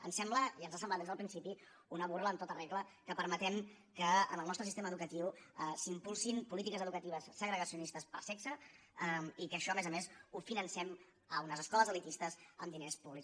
ens sembla i ens ha semblat des del principi una burla en tota regla que permetem que en el nostre sistema educatiu s’impulsin polítiques educatives segregacionistes per sexe i que això a més a més ho financem a unes escoles elitistes amb diners públics